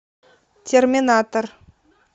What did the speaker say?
терминатор